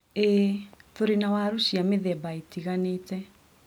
ĩĩ, turĩ na waru cia mĩthemba ĩtiganĩte.